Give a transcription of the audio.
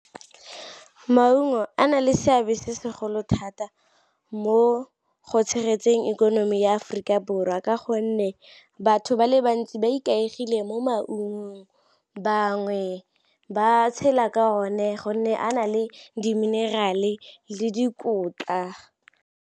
Maungo a na le seabe se segolo thata mo go tshegetseng ikonomi ya Aforika Borwa ka gonne batho ba le bantsi ba ikaegile mo maungong, bangwe ba tshela ka one gonne a na le di-mineral-e le dikotla.